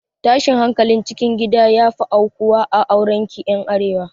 Tashin hankalin cikin gida ya fi aukuwa a aurekin ƴan arewa